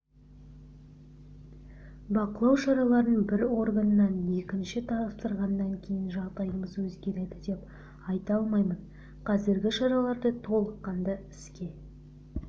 бақылау шараларын бір органнан екіншіге тапсырғаннан кейін жағдайымыз өзгереді деп айта алмаймын қазіргі шараларды толыққанды іске